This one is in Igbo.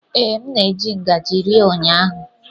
Ee, m na-eji ngaji rie ụnyaahụ.